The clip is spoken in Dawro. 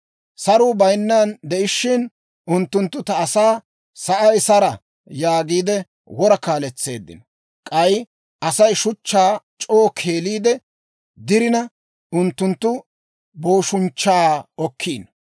«Saruu bayinnan de'ishiina, unttunttu ta asaa, ‹Sa'ay sara!› yaagiide wora kaaletseeddino. K'ay Asay shuchchaa c'oo keeliide dirina, unttunttu booshunchchaa okkiino.